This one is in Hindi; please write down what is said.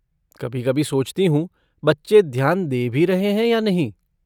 कभी कभी सोचती हूँ बच्चे ध्यान दे भी रहे हैं या नहीं।